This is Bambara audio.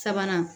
Sabanan